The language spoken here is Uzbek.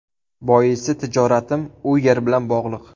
Boisi tijoratim u yer bilan bog‘liq.